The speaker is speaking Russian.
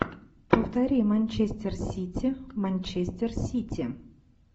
повтори манчестер сити манчестер сити